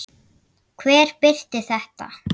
Hver birti þetta?